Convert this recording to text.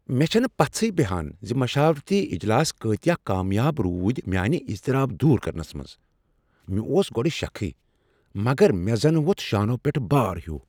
مےٚ چھنہٕ پژھیہ بیہان زِ مشاورتی اجلاس کٲتیٛاہ کامیاب روٗدِ میانہ اضطراب دور کرنس منٛز ۔ مےٚ اوس گۄڈٕٕ شکھٕے ، مگر مےٚ زنہٕ ووٚتھ شانو پٮ۪ٹھٕ بار ہِیوٗ ۔